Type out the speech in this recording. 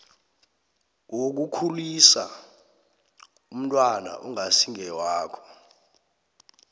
wokukhulisa umntwana ongasiwakho